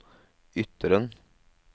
Ytteren